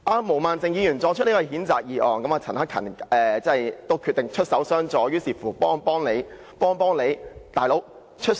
毛孟靜議員提出譴責議案，而陳克勤議員決定出手襄助，幫幫何議員。